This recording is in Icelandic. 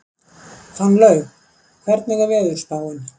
Fannlaug, hvernig er veðurspáin?